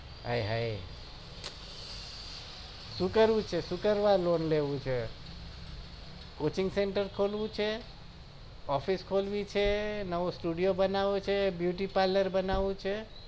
આયે હાયે શું કરવું છે શું કરવા lone લેવું છે coaching centre ખોલવું છે office ખોલવી છે નવો studeo બનાવો છે beuty parlar બનાવું છે